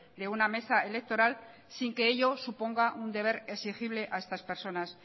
de una mesa electoral sin que ello suponga un deber exigible a estas personas